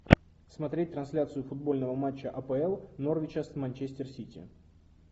смотреть трансляцию футбольного матча апл норвича с манчестер сити